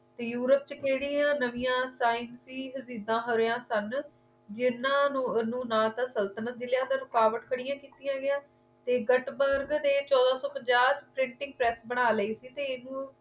Europe ਚ ਖੇੜਿਆਂ ਨਵੀਆਂ ਟਾਈਮ ਸੀ ਹਰਿਆ ਸਨ ਜਿਨ੍ਹਾਂ ਨੂੰ ਨਾ ਸੰਤਤਲਣ ਮਿਲਿਆ ਗਿਆ ਤੇ ਰੁਕਾਵਟਾਂ ਕੜ੍ਹਿਆ ਕੀਤੀ ਗਿਆ ਤੇ ਗਤ ਮਾਰਗ ਚੋਦਾ ਸੋ ਪੰਜਾਹ ਪ੍ਰਟਿੰਗ ਪ੍ਰੈਸ ਬਣਾ ਲਈ ਤੇ ਇਸ ਨੂੰ